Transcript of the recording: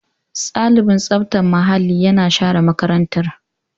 Ɗalibin tsaftar muhalli yana share makarantar.